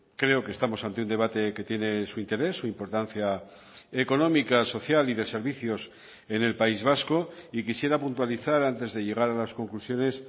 creo que estamos ante un debate que tiene su interés su importancia económica social y de servicios en el país vasco y quisiera puntualizar antes de llegar a las conclusiones